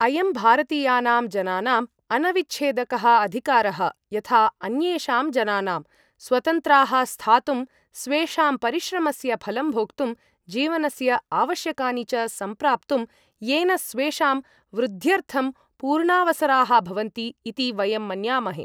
अयं भारतीयानां जनानाम् अनविच्छेदकः अधिकारः यथा अन्येषां जनानाम्, स्वतन्त्राः स्थातुं, स्वेषां परिश्रमस्य फलं भोक्तुं, जीवनस्य आवश्यकानि च सम्प्राप्तुं, येन स्वेषां वृद्ध्यर्थं पूर्णावसराः भवन्ति इति वयं मन्यामहे।